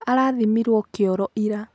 Alathimĩirwo kĩoro ira.